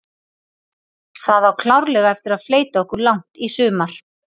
Það á klárlega eftir að fleyta okkur langt í sumar.